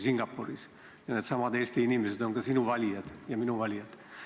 Ja needsamad Eesti inimesed on ka sinu valijad ja minu valijad.